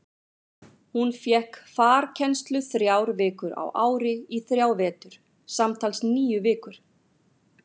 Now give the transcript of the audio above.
Hún fékk farkennslu þrjár vikur á ári í þrjá vetur, samtals níu vikur.